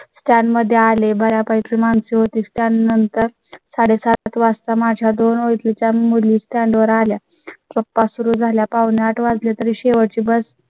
त्या मध्ये आले बर् यापैकी माणसे होती. त्यानंतर साडेसात वाजता माझ्या दोन ओडखींच्या मुली stand आल्या. गप्पा सुरू झाल्यासात पावणे आठ वाजले तरी शेवटची बस